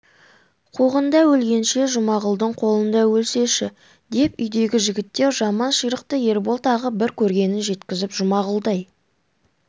қуғында өлгенше жұмағұлдың қолында өлсеші деп үйдегі жігіттер жаман ширықты ербол тағы бір көргенін жеткізіп жұмағұлдай